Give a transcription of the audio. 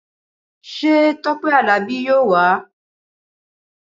Ṣé Tọpẹ Àlàbí yóò wá?